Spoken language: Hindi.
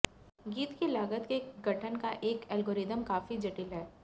गीत की लागत के गठन का एक एल्गोरिथ्म काफी जटिल है